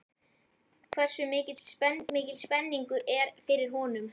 Hversu mikil spenningur er fyrir honum?